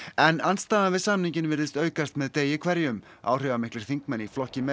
en andstaða við samninginn virðist aukast með degi hverjum áhrifamiklir þingmenn í flokki